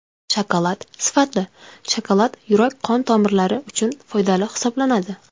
Shokolad Sifatli shokolad yurak-qon tomirlari uchun foydali hisoblanadi.